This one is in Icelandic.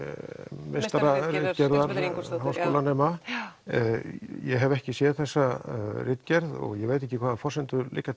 meistararitgerðar háskólanema ég hef ekki séð þessa ritgerð og ég veit ekki hvaða forsendur liggja